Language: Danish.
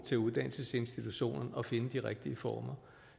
til uddannelsesinstitutionen at finde de rigtige former